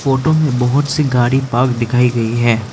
Photo में बहुत सी गाड़ी पार्क दिखाई गई है।